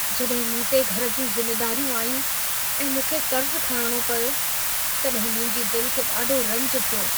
जॾहिं मूं ते घर जूं ज़िमेदारियूं आयूं ऐं मूंखे कर्ज़ु खणणो पियो, तॾहिं मुंहिंजी दिल खे ॾाढो रंज थियो।